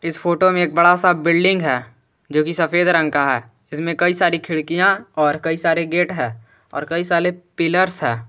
Photo में एक बड़ा सा बिल्डिंग है जो कि सफेद रंग का है इसमें कई सारी खिड़कियां और कई सारे गेट है और कई साले पिलर्स है।